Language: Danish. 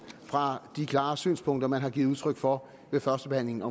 fra de klare synspunkter man har givet udtryk for ved førstebehandlingen af